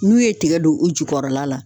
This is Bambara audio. N'u ye tigɛ don u jukɔrɔla la